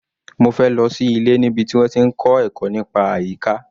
Mofe lọ sí ilé níbi tí wọ́n ti ń kọ́ ẹ̀kọ́ nípa àyíká.